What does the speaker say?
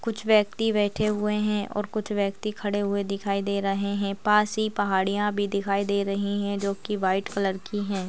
कुछ व्यक्ति बैठे हुए हैं और कुछ व्यक्ति खड़े हुए दिखाई दे रहे हैं। पास ही पहाड़ियाँ भी दिखाई दे रही हैं जो कि व्हाइट कलर की हैं।